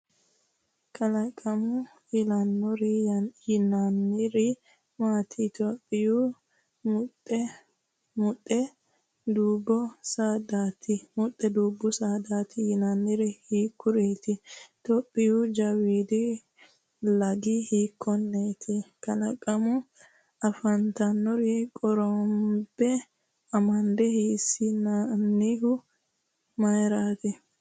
Kalaqamu elinore yinanniri maati? Itophiyaho muxxe dubbu saadaati yinoonniri hiikkuriiti? Itophiyaho jawiidi lagi hiikkonneeti? Kalaqamunni afi’nannire qorombe amada hasiissannohu mayraati?